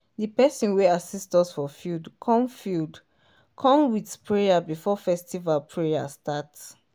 di person wey assist us for field come field come with sprayer before festival prayer start.